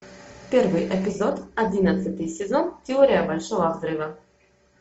первый эпизод одиннадцатый сезон теория большого взрыва